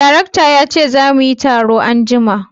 Darekta ya ce za muyi taro anjima